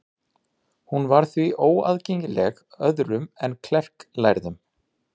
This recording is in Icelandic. Hún var því óaðgengileg öðrum en klerklærðum.